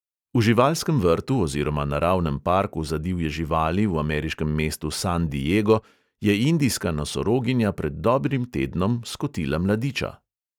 V živalskem vrtu oziroma naravnem parku za divje živali v ameriškem mestu san diego je indijska nosoroginja pred dobrim tednom skotila mladiča.